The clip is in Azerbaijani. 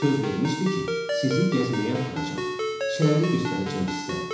Söz vermişdi ki, sizi gəzməyə aparacam, şəhəri göstərəcəm sizə.